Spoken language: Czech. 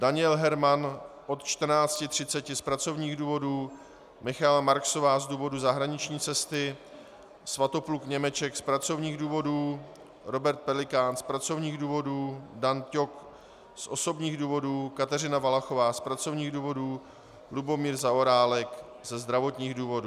Daniel Herman od 14.30 z pracovních důvodů, Michaela Marksová z důvodu zahraniční cesty, Svatopluk Němeček z pracovních důvodů, Robert Pelikán z pracovních důvodů, Dan Ťok z osobních důvodů, Kateřina Valachová z pracovních důvodů, Lubomír Zaorálek ze zdravotních důvodů.